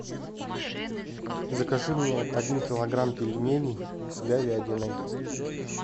закажи мне один килограмм пельменей с говядиной